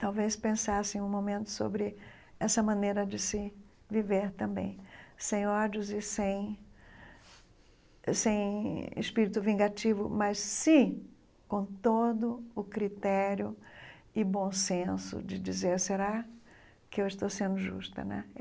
talvez pensasse em um momento sobre essa maneira de se viver também, sem ódios e sem sem espírito vingativo, mas sim com todo o critério e bom senso de dizer, será que eu estou sendo justa né?